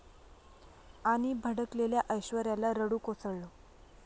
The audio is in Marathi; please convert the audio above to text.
...आणि भडकलेल्या ऐश्वर्याला रडू कोसळलं